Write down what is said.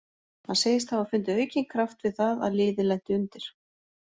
Hann segist hafa fundið aukinn kraft við það að liðið lenti undir.